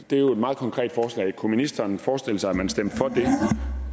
er jo et meget konkret forslag kunne ministeren forestille sig at man stemte for